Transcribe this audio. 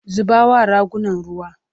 zuba wa ragunan ruwa!